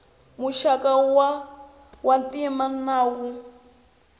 muxaka wa ntima na wo